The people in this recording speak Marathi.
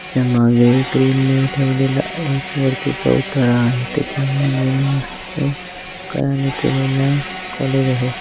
त्याच्या माघे क्रिल ने ठेवलेलं आहे वरती चौथळा आहे त्याच्यामाघे मस्त कला ने केलेल कोलाज आहे.